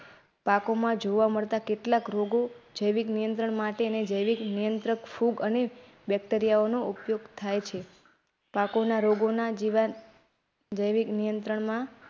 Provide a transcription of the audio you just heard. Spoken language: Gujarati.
પાકોમાં જોવા મળતા કેટલાક રોગો જૈવિક નિયંત્રણ માટે જૈવિક નિયંત્રક ફૂગ અને બેક્ટેરિયાનો ઉપયોગ થાય છે.